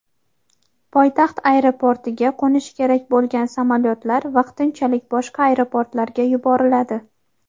poytaxt aeroportiga qo‘nishi kerak bo‘lgan samolyotlar vaqtinchalik boshqa aeroportlarga yuboriladi.